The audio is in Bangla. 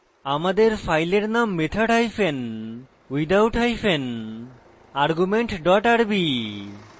আমাদের ফাইলের নাম method hyphen without hyphen argument dot rb